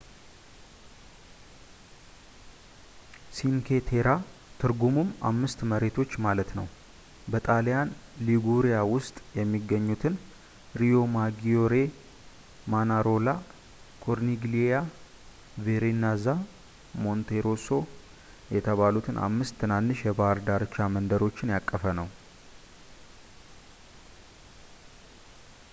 ሲንኬ ቴራ፣ ትርጉሙም አምስት መሬቶች ማለት ነው፣ በጣሊያን ሊጉሪያ ውስጥ የሚገኙትን ሪዮማጊዮሬ ፣ ማናሮላ ፣ ኮርኒግሊያ ፣ ቬርናዛ እና ሞንቴሮሶ የተባሉትን አምስት ትናንሽ የባህር ዳርቻ መንደሮችን ያቀፈ ነው